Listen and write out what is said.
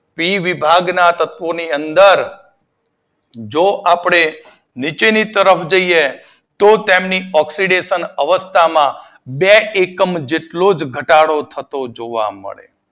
પી વિભાગના તત્વો ની અંદર જો આપડે નીચેની તરફ જઈએ તો તેની ઓક્સીડેશન અવસ્થામાં બે એકમ જેટલો જ ઘટાડો થતો જોવા મળે